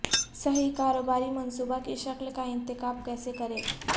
صحیح کاروباری منصوبہ کی شکل کا انتخاب کیسے کریں